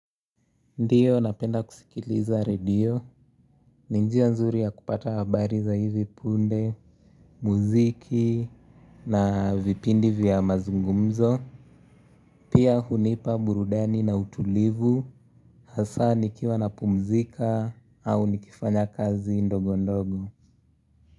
Ndiyo napenda kusikiliza radio, ninjia nzuri ya kupata habari za hivi punde, muziki na vipindi vya mazungumzo. Pia hunipa burudani na utulivu, hasa nikiwa na pumzika au nikifanya kazi ndogo ndogo.